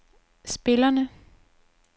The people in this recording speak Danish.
spillerne